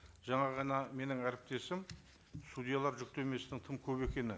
жаңа ғана менің әріптесім судьялар жүктемесінің тым көп екені